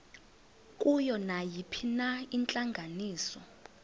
kuyo nayiphina intlanganiso